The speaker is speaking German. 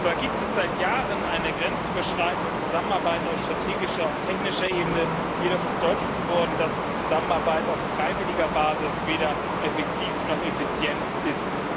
Zwar gibt es seit Jahren eine grenzüberschreitende Zusammenarbeit auf strategischer und technischer Ebene, jedoch ist deutlich geworden, dass die Zusammenarbeit auf freiwilliger Basis weder effektiv noch effizient ist.